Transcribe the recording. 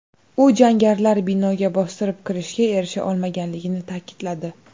U jangarilar binoga bostirib kirishga erisha olmaganligini ta’kidladi.